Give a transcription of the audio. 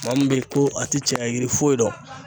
Maa min bɛ ko a tɛ caya yiri foyi dɔn.